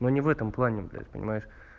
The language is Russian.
но не в этом плане блять понимаешь